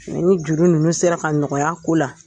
Nka ni juru ninnu sera ka nɔgɔya a ko la